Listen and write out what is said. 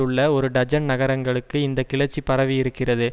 உள்ள ஒரு டஜன் நகரங்களுக்கு இந்த கிளர்ச்சி பரவியிருக்கிறது